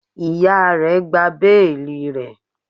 Iya rẹ gba beeli rẹ